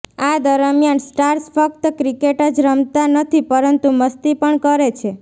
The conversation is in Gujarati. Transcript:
આ દરમિયાન સ્ટાર્સ ફક્ત ક્રિકેટ જ રમતા નથી પરંતુ મસ્તી પણ કરે છે